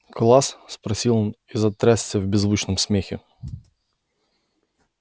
класс спросил он и затрясся в беззвучном смехе